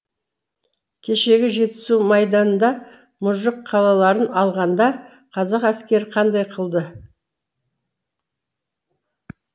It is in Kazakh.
кешегі жетісу майданында мұжық қалаларын алғанда қазақ әскері қандай қылды